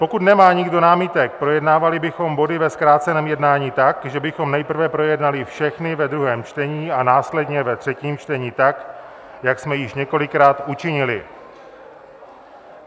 Pokud nemá nikdo námitek, projednávali bychom body ve zkráceném jednání tak, že bychom nejprve projednali všechny ve druhém čtení a následně ve třetím čtení, tak jak jsme již několikrát učinili.